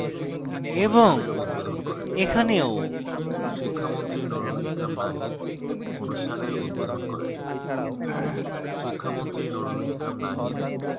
এবং এখানেও